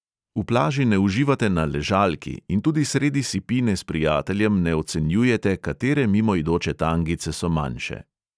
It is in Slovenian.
V plaži ne uživate na ležalki in tudi sredi sipine s prijateljem ne ocenjujete, katere mimoidoče tangice so manjše.